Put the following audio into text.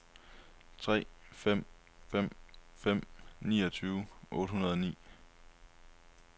tre fem fem fem niogtyve otte hundrede og ni